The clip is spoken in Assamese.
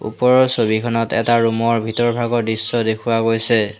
ওপৰৰ ছবিখনত এটা ৰুম ৰ ভিতৰভাগৰ দৃশ্য দেখুওৱা গৈছে।